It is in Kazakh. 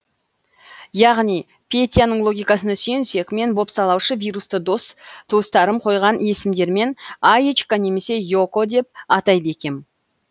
яғни петяның логикасына сүйенсек мен бопсалаушы вирусты дос туыстарым қойған есімдермен аечка немесе и око деп атайды екем